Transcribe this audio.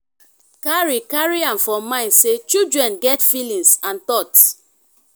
carry carry am for mind sey children get feelings and thought